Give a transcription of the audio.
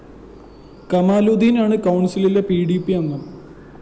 കമാലുദ്ദീനാണ്‌ കൗണ്‍സിലിലെ P D P അംഗം